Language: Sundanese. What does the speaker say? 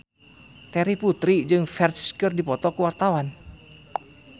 Terry Putri jeung Ferdge keur dipoto ku wartawan